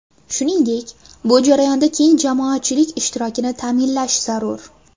Shuningdek, bu jarayonda keng jamoatchilik ishtirokini ta’minlash zarur.